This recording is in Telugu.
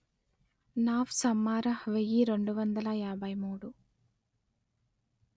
నాఫ్స్ అమ్మారహ్ వెయ్యి రెండు వందల యాభై మూడు